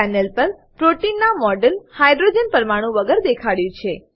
panel પર પ્રોટીનના model hydrogen પરમાણુ વગર દેખાડ્યું છે